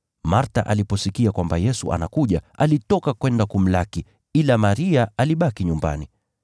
Martha aliposikia kwamba Yesu anakuja, alitoka kwenda kumlaki, ila Maria alibaki nyumbani.